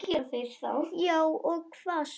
Já og hvað svo?